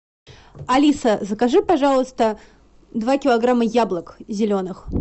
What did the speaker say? алиса закажи пожалуйста два килограмма яблок зеленых